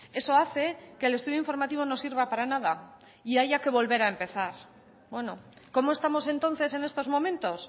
eso hace que el estudio informativo no sirva para nada y haya que volver a empezar bueno cómo estamos entonces en estos momentos